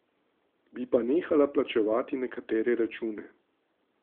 Bi pa nehala plačevati nekatere račune.